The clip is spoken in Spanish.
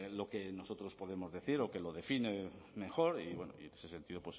lo que nosotros podemos decir o que lo define mejor y bueno en ese sentido